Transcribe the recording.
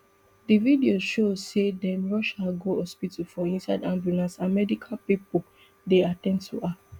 di video show say dem rush her go hospital for inside ambulance and medical pipo dey at ten d to her